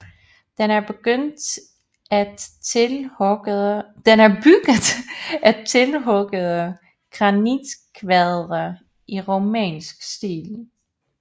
Den er bygget af tilhuggede granitkvadre i romansk stil